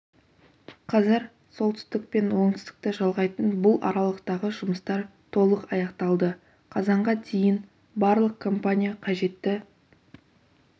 қазір солтүстік пен оңтүстікті жалғайтын бұл аралықтағы жұмыстар толық аяқталды қазанға дейін барлық компания қажетті